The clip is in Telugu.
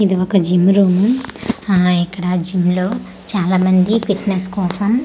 ఇది ఒక జిమ్ రూమ్ ఆ ఇక్కడ జిమ్ లో చాలామంది ఫిట్నెస్ కోసం.